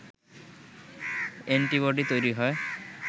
antibody তৈরি হয়